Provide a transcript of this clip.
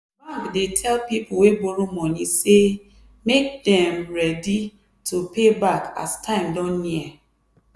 bank /dey tell people wey borrow money say make dem ready to pay back as time don near.